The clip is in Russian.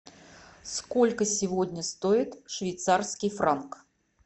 сколько сегодня стоит швейцарский франк